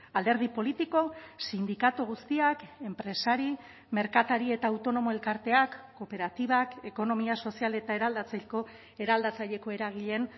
alderdi politiko sindikatu guztiak enpresari merkatari eta autonomo elkarteak kooperatibak ekonomia sozial eta eraldatzeko eraldatzaileko eragileen